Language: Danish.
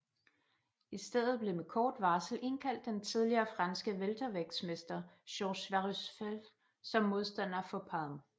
I stedet blev med kort varsel indkaldt den tidligere franske weltervægtsmester Georges Warusfel som modstander for Palm